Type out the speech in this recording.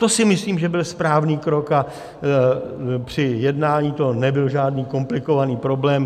To si myslím, že byl správný krok, a při jednání to nebyl žádný komplikovaný problém.